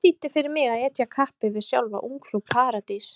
Hvað þýddi fyrir mig að etja kappi við sjálfa Ungfrú Paradís?